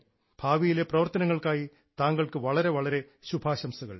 ഭാവിയിലെ പ്രവർത്തനങ്ങൾക്കായി താങ്കൾക്ക് വളരെ വളരെ ശുഭാശംസകൾ